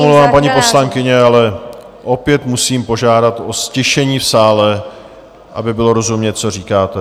Já se omlouvám, paní poslankyně, ale opět musím požádat o ztišení v sále, aby bylo rozumět, co říkáte.